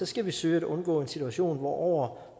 skal vi søge at undgå en situation hvor over